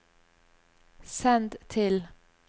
send til